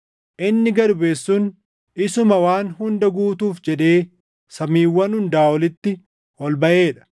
Inni gad buʼe sun isuma waan hunda guutuuf jedhee samiiwwan hundaa olitti ol baʼee dha.